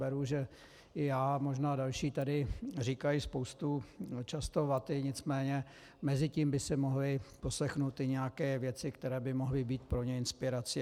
Beru, že i já, možná i další tady říkají spoustu často vaty, nicméně mezi tím by si mohli poslechnout i nějaké věci, které by mohly být pro ně inspirací.